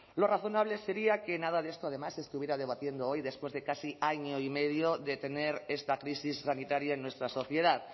lo razonable sería que nada de esto además se estuviera debatiendo hoy después de casi año y medio de tener esta crisis sanitaria en nuestra sociedad